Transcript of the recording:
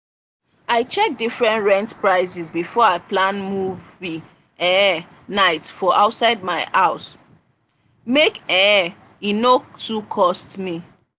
i check different rent prices before i plan movie um night for outside my house make um e no too cost me.